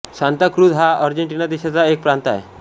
Santa Cruz हा Argentina देशाचा एक प्रांत आहे